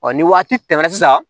Ɔ ni waati tɛmɛna sisan